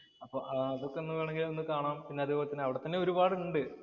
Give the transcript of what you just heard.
അപ്പൊ അതൊക്കെ ഒന്ന് വേണെമെങ്കില്‍ ഒന്ന് കാണാം. പിന്നെ അതേപോലെ തന്നെ അവിടെ തന്നെ ഒരുപാട് ഉണ്ട്.